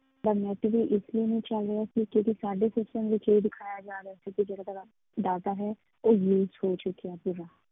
ਤਾਂ net ਵੀ ਇਸ ਲਈ ਨਹੀਂ ਚੱਲ ਰਿਹਾ ਕਿਉਂਕਿ ਇੱਥੇ ਸਾਡੇ system ਵਿੱਚ ਇਹ ਦਿਖਾਇਆ ਜਾ ਰਿਹਾ ਸੀ ਕਿ ਜਿਹੜਾ ਤੁਹਾਡਾ data ਹੈ, ਉਹ use ਹੋ ਚੁੱਕਿਆ ਸੀਗਾ।